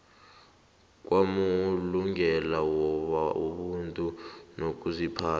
kwamalungelo wobuntu nokuziphatha